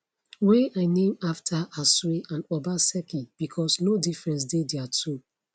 wey i name afta asue and obaseki becos no difference dey dia two